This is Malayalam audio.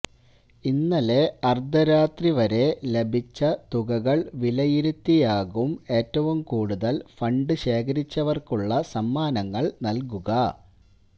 ഇന്നലെ അര്ദ്ധരാത്രി വരെ ലഭിച്ച തുകകള് വിലയിരുത്തിയാകും ഏറ്റവും കൂടുതല് ഫണ്ട് ശേഖരിച്ചവര്ക്കുള്ള സമ്മാനങ്ങള് നല്കുക